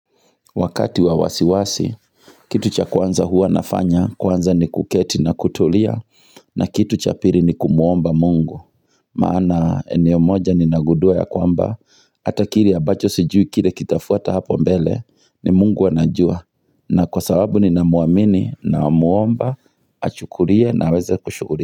Wakati wa wasiwasi, kitu cha kwanza huwa nafanya, kwanza ni kuketi na kutulia, na kitu cha piri ni kumuomba mungu. Maana eneo moja ninagundua ya kwamba, ata kilevabacho sijui kile kitafuata hapo mbele, ni mungu anajua. Na kwa sababu ni na muamini na muomba, achukulie na aweze kushughu.